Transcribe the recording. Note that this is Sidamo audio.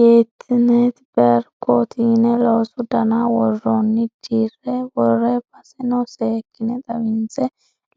Yetinet berwketi yine loosu dana worooni dire wore baseno seekkine xawinse